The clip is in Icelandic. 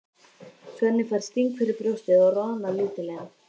Svenni fær sting fyrir brjóstið og roðnar lítillega.